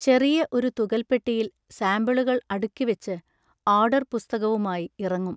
ചെറിയ ഒരു തുകൽപ്പെട്ടിയിൽ സാമ്പിളുകൾ അടുക്കിവെച്ച്, ആർഡർ പുസ്തകവുമായി ഇറങ്ങും.